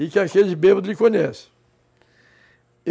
E que aquele bêbado lhe conhece.